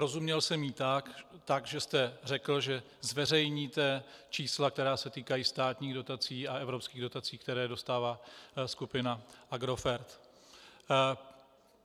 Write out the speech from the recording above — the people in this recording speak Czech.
Rozuměl jsem jí tak, že jste řekl, že zveřejníte čísla, která se týkají státních dotací a evropských dotací, které dostává skupina Agrofert.